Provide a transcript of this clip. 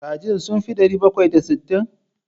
Kajin sun fi ɗari bakwai da sittin?